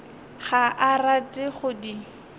ga a rate go di